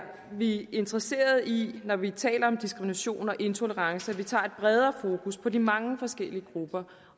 vi interesserede i når vi taler om diskrimination og intolerance at vi tager et bredere fokus på de mange forskellige grupper